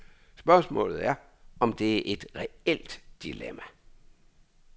Spørgsmålet er, om det er et reelt dilemma.